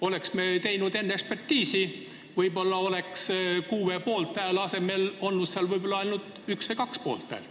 Oleks me teinud enne ekspertiisi, võib-olla oleks kuue poolthääle asemel olnud ainult üks või kaks poolthäält.